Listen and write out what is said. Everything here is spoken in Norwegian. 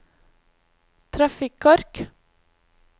trafikkork